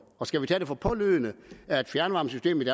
og skal vi tage det for pålydende at fjernvarmesystemet